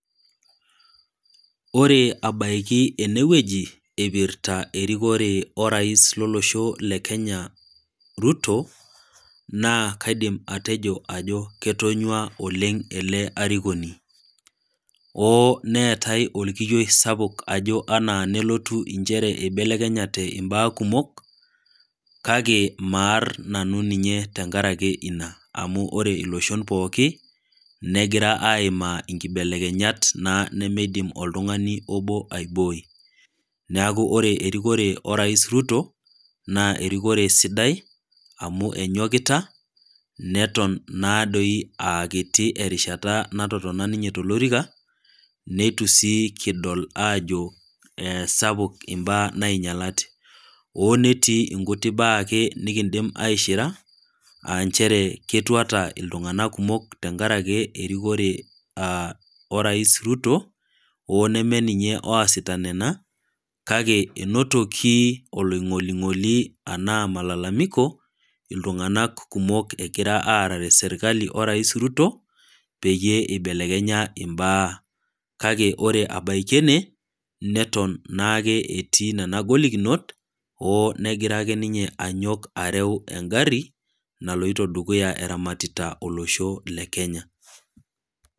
Ore abaoiki ene wueji eipirta orais lolosho le Kenya Ruto, naa kaidim atejo ajo ketonyua oleng' ele arikoni. Oo neatai olkiyioi sapuk ajo inchere ajo keibelekenyate imbaa kumok, kake maar nanu ninye enkaraki ina, amu ore iloshon pookin negira aimaa inkibelekenyat naa duo nemeidim oltung'ani obo aibooi. Neaku ore erikore orais Ruto, naa erikore sidai amu enyokita, neton naadoi aa kiti naa erishata natotona ninye tolorika, neitu sii kidol aajo sapuk imbaa nainyalate, oo netii inkuti baa ake nekindim aishira, aa nchere ketuata iltung'anak kumok enkaraki erikore orais Ruto oo nemee ninye oasita nena, kake einotoki oloing'oling'oli anaa malalamiko, iltung'anak kumok egira aarare serkali o rais Ruto peyie eibelekenya imbaa kake ore abaiki ene, neton naake etii nena golikinot oo negira ake ninye anyok areu engari, naloito dukuya eramatita olosho le Kenya.